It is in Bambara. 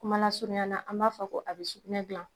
Kumalasurunya la an b'a fɔ ko a bɛ sugunɛ dilan